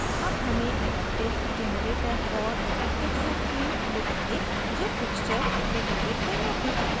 अब हमें adaptive generator और adaptive subtheme मिलेंगे जो pixture reloaded कहलाते हैं